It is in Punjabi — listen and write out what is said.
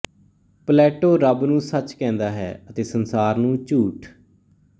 ਪਲੈੈੈਟੋੋ ਰੱਬ ਨੂੰ ਸੱੱਚ ਕਹਿੰਦਾ ਹੈ ਅਤੇ ਸੰਸਾਰ ਨੂੰ ਝੂਠ